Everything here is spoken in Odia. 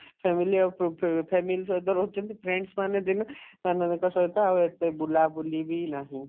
family ayes କରୁଥିବେ family ସହିତ ରହୁଛନ୍ତି friends ମାନେ ଦିନେ ସାଙ୍ଗମାନଙ୍କ ସହିତ ଆଉ ଏତେ ବୁଲାବୁଲି ବି ନାହିଁ